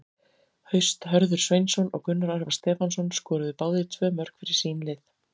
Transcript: Haust Hörður Sveinsson og Gunnar Örvar Stefánsson skoruðu báðir tvö mörk fyrir sín lið.